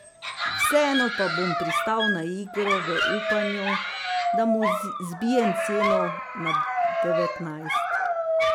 Vseeno pa bom pristal na igro v upanju, da mu zbijem ceno na devetnajst.